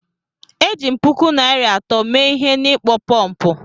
Eji m puku naira atọ mee ihe n'ịkpọ pọmpụ